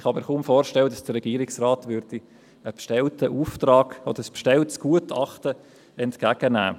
Ich kann mir kaum vorstellen, dass der Regierungsrat ein bestelltes Gutachten entgegennähme.